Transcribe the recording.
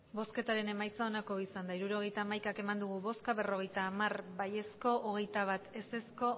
emandako botoak hirurogeita hamaika bai berrogeita hamar ez hogeita bat